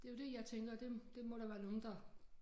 Det jo det jeg tænker det det må der være nogen der